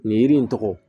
Nin yiri in tɔgɔ